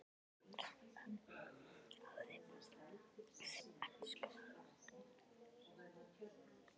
Hann traðkaði á þeim sem elskuðu hann.